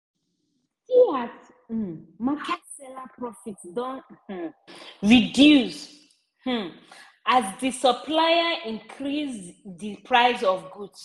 see as um market seller profit don um reduce um as di supplier increase di price of goods.